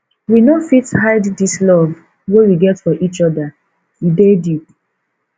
we no fit hide dis love wey we get for each oda e dey deep